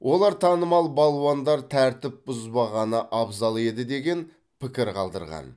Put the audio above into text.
олар танымал балуандар тәртіп бұзбағаны абзал еді деген пікір қалдырған